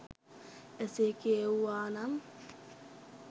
එසේ කියැවුවා නම්